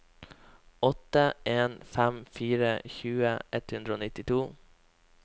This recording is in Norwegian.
åtte en fem fire tjue ett hundre og nittito